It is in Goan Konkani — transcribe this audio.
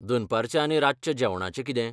दनपारच्या आनी रातच्या जेवणाचें कितें?